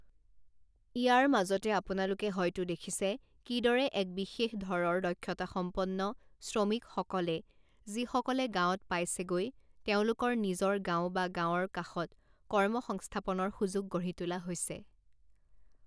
ইয়াৰ মাজতে আপোনালোকে হয়তো দেখিছে, কিদৰে এক বিশেষ ধৰঁৰ দক্ষতাসম্পন্ন শ্ৰমিকসকলে, যিসকলে গাঁৱত পাইছেগৈ, তেওঁলোকৰ নিজৰ গাঁও বা গাঁৱৰ কাষত কৰ্মসংস্থাপনৰ সুযোগ গঢ়ি তোলা হৈছে।